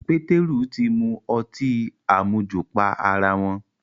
Pétérù ti mu ọtí àmujù pa ará wọn